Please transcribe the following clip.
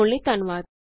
ਸ਼ਾਮਲ ਹੋਣ ਲਈ ਧੰਨਵਾਦ